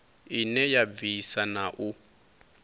ine ya bvisa na u